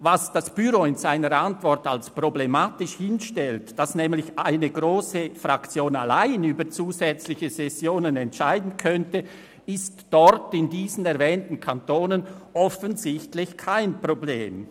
Was das Büro in seiner Antwort als problematisch hinstellt, nämlich dass eine grosse Fraktion allein über zusätzliche Sessionen entscheiden könnte, ist in den erwähnten Kantonen offensichtlich kein Problem.